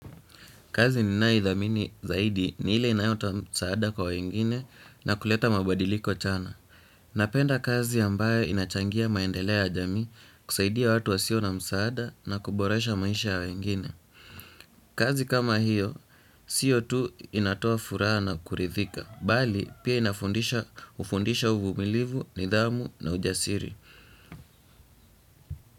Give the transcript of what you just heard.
Kazi ninayoidhamini zaidi ni ile inayotoa msaada kwa wengine na kuleta mabadiliko changa. Napenda kazi ambayo inachangia maendeleo ya jamii kusaidia watu wasio na msaada na kuboresha maisha ya wengine. Kazi kama hiyo, sio tu inatoa furaha na kuridhika. Bali, pia inafundisha hufundisha uvumilivu, nidhamu na ujasiri.